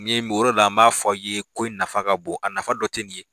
Ni ye o yɔrɔ de la n b'a fɔ ye ko nafa ka bon a nafa dɔ tɛ nin ye.